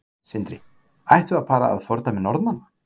Sindri: Ættum við að fara að fordæmi Norðmanna?